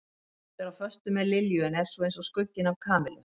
Þykist vera á föstu með Lilju en er svo eins og skugginn af Kamillu.